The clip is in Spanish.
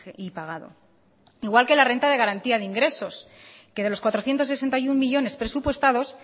y pagado igual que la renta de garantía de ingresos que de los cuatrocientos sesenta y uno millónes presupuestados